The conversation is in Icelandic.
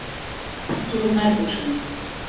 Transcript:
Fór ekki úr nærbuxunum.